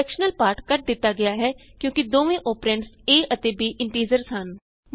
fractional part cut ਦਿਤਾ ਗਿਆ ਹੈ ਕਿਉਂਕਿ ਦੋਵੇਂ ਅੋਪਰੈਂਡਸ a ਅਤੇ b ਇੰਟੀਜ਼ਰਸ ਹਨ